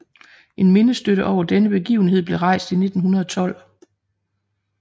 En mindestøtte over denne begivenhed blev rejst i 1912